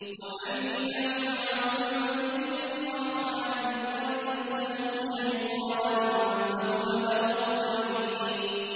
وَمَن يَعْشُ عَن ذِكْرِ الرَّحْمَٰنِ نُقَيِّضْ لَهُ شَيْطَانًا فَهُوَ لَهُ قَرِينٌ